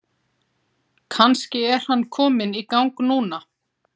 Kannski er hann kominn í gang núna?